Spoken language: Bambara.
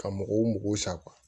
Ka mɔgɔw mɔgɔw sa